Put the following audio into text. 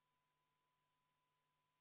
Palun võtta seisukoht ja hääletada!